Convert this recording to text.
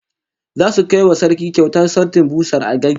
Zasu kai wa Sarki kyautar sautin busar algaita